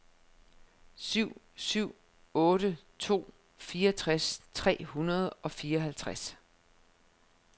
syv syv otte to fireogtres tre hundrede og fireoghalvtreds